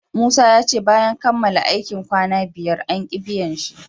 Musa yace bayan kamala aikin kwanna biyar anki biyan shi